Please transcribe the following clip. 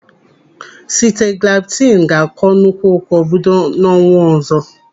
Sitagliptin ga-akọ nnukwu ụkọ bido n'ọnwa ọzọ.